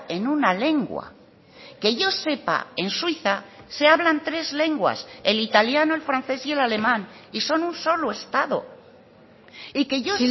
en una lengua que yo sepa en suiza se hablan tres lenguas el italiano el francés y el alemán y son un solo estado y que yo